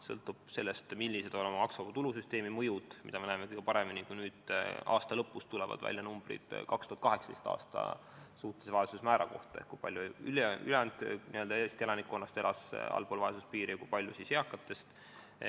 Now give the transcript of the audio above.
Sõltub sellest, millised saavad olema maksuvaba tulu süsteemi mõjud, mida me näeme kõige paremini siis, kui aasta lõpus tulevad numbrid 2018. aasta suhtelise vaesuse määra kohta: kui palju ülejäänud Eesti elanikkonnast elas allpool vaesuspiiri ja kui paljud eakatest elasid allpool seda.